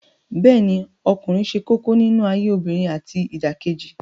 Bẹ́ẹ̀ ni ọkùnrin ṣe kókó nínú ayé obìnrin àti ìdàkejì